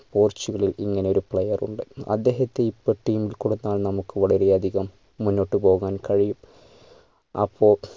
പോർട്ടുഗലിൽ ഇങ്ങനെ ഒരു player ഉണ്ട് അദ്ദേഹത്തെ ഇപ്പൊ team ൽ കൊടുത്താൽ നമ്മക്ക് വളരെ അധികം മുന്നോട്ട് പോകാൻ കഴിയും അപ്പോ